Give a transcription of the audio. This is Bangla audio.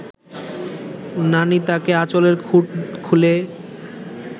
নানি তাকে, আঁচলের খুঁট খুলে